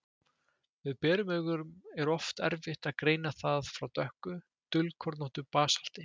Með berum augum er oft erfitt að greina það frá dökku, dulkornóttu basalti.